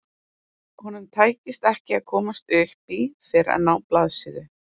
Honum tækist ekki að komast upp í fyrr en á blaðsíðu